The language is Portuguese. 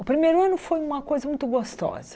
O primeiro ano foi uma coisa muito gostosa.